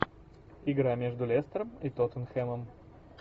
игра между лестером и тоттенхэмом